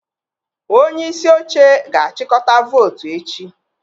Onye isi oche ga-achịkọta votu echi.